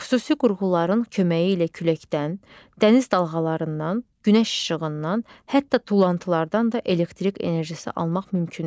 Xüsusi qurğuların köməyi ilə küləkdən, dəniz dalğalarından, günəş işığından, hətta tullantılardan da elektrik enerjisi almaq mümkündür.